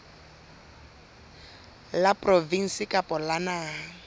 la provinse kapa la naha